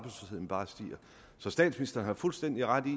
stiger så statsministeren har fuldstændig ret i